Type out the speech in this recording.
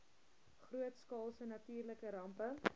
grootskaalse natuurlike rampe